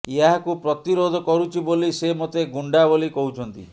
ଏହାକୁ ପ୍ରତିରୋଧ କରୁଛି ବୋଲି ସେ ମୋତେ ଗୁଣ୍ଡା ବୋଲି କହୁଛନ୍ତି